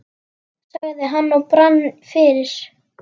sagði hann og brann fyrir.